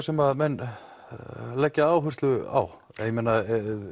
sem menn leggja áherslu á ég meina